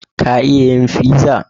Ka iya yin pizza?